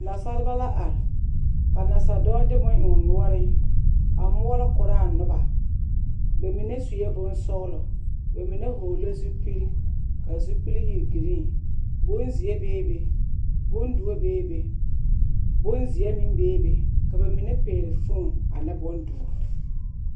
Nasaalba la are, ka nasa dɔɔ de bone eŋ o noɔreŋ a moɔlɔ koraa noba bamine sue bonsɔgelɔ, bamine hɔɔle zupil k'a zupil e giriin, bonzeɛ bee be, bondoɔ bee be, bonzeɛ meŋ bee be ka bamine pɛgele fon ane bondoɔ.